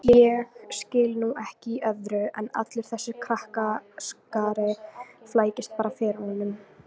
Ég skil nú ekki í öðru en allur þessi krakkaskari flækist bara fyrir honum